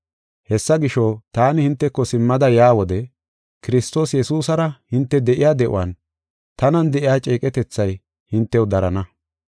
Hessa gisho, taani hinteko simmada yaa wode, Kiristoos Yesuusara hinte de7iya de7uwan tanan de7iya ceeqetethay hintew darana.